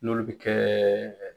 N'olu bɛ kɛ